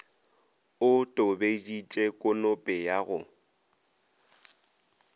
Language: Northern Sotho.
o tobeditše konope ya go